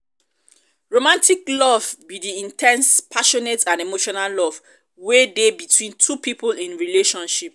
romantic love be di in ten se passionate and emotional love wey dey between two people in relationship.